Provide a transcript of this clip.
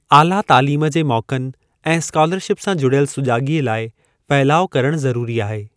आला तालीम जे मौकनि ऐं स्कॉलरशिप सां जुड़ियल सुजाॻीअ लाइ फहिलाव करणु ज़रूरी आहे।